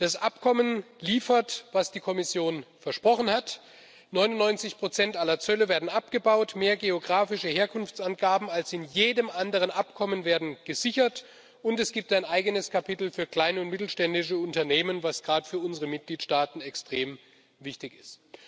Das Abkommen liefert, was die Kommission versprochen hat 99 aller Zölle werden abgebaut, mehr geografische Herkunftsangaben als in jedem anderen Abkommen werden gesichert, und es gibt ein eigenes Kapitel für kleine und mittelständische Unternehmen, was gerade für unsere Mitgliedstaaten extrem wichtig ist.